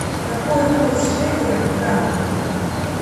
какой курс шекеля к франку